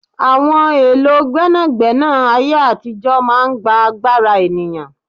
Àwọn èlò gbẹ́nàgbẹ́nà ayé àtijó máa ń gbà agbára ènìyàn